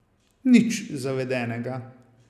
Nič zavedenega.